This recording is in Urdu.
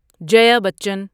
جیا بچن